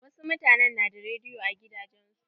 Wasu mutanen na da rediyo a gidajen su.